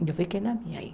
E eu fiquei na minha aí.